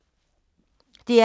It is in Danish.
DR P2